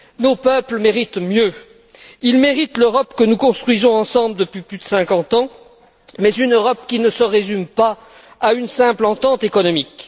Nos peuples méritent mieux! Ils méritent l'Europe que nous construisons ensemble depuis plus de cinquante ans, mais une Europe qui ne se résume pas à une simple entente économique.